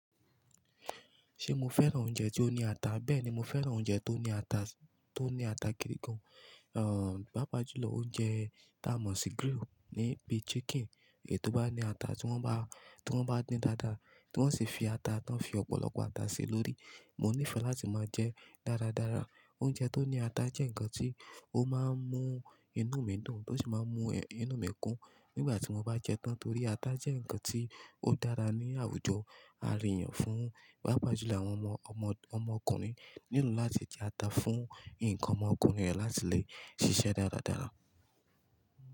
Ṣé mo fẹ́ràn oúnjẹ tó ní ata? Bẹ́ẹ̀ni, mo fẹ́ràn oúnjẹ tó ní ata, tó ní ata gidi gan. Àn, bá pàjùlọ oúnjẹ ta mọ̀ sí grill níbí chicken ètò bá ní ata tí wón bá, tí wón bá dín dáadáa, tí wón sì fi ata tán, fi ọ̀pọ̀lọpọ̀ ata sí lórí. Mo nífẹ̀ẹ́ láti máa jẹ dáradára. Oúnjẹ tó ní ata jẹ́ nǹkan tí ó máa ń mú inú mi dùn, tó sì máa ń mú inú mi kún nígbà tí mo bá jẹ tán torí ata jẹ́ nǹkan tí ó dára ní àwùjọ àríyàn fún, pápàjùlọ àwọn ọmọ ọmọ ọmọkùnrin nílò láti jẹ ata fún ǹkan ọmọkùnrin rẹ̀ láti le ṣiṣẹ́ dáradára.